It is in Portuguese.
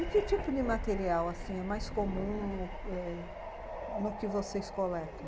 E que tipo de material, assim, é mais comum no que... no que vocês coletam?